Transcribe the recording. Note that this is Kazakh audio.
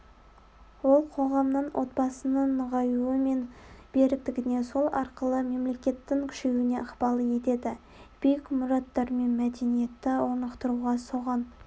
ол қоғамның отбасының нығаюы мен беріктігіне сол арқылы мемлекеттің күшеюіне ықпал етеді биік мұраттар мен мәдениетті орнықтыруға соған